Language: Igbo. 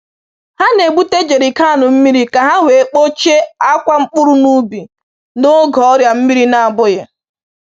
Ha na-ebute jerrycan mmiri ka ha wee kpochie akwa mkpụrụ n’ubi n’oge ọrịa mmiri na-abụghị.